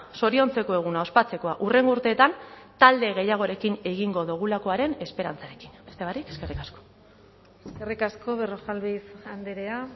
zoriontzeko eguna ospatzekoa hurrengo urteetan talde gehiagorekin egingo dugulakoaren esperantzarekin beste barik eskerrik asko eskerrik asko berrojalbiz andrea